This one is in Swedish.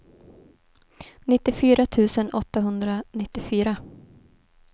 nittiofyra tusen åttahundranittiofyra